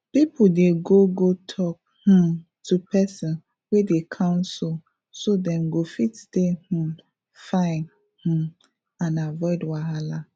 people dey go go talk um to person wey dey counsel so dem go fit stay um fine um and avoid wahala